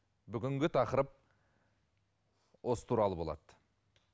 бүгінгі тақырып осы туралы болады